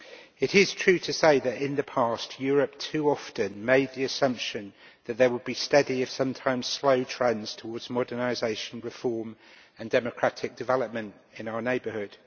It is true to say that, in the past, Europe has too often made the assumption that there would be steady, if sometimes slow, trends towards modernisation, reform and democratic development in our neighbourhood.